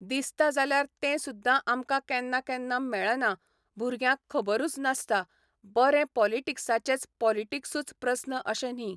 दिसता जाल्यार तें सुद्दां आमकां केन्ना केन्ना मेळना भुरग्यांक खबरूच नासता बरें पोलिटिक्साचेच पोलिटीक्सूच प्रन्स अशे न्ही